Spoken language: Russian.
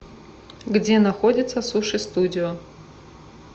где находится суши студио